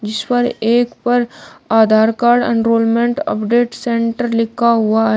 जिस पर एक पर Aadhaar card enrolment update centre लिखा हुआ है।